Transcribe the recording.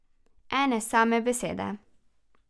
Ene same besede!